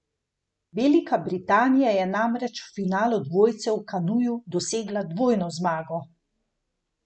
Velika Britanija je namreč v finalu dvojcev v kanuju dosegla dvojno zmago.